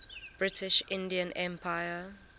british indian empire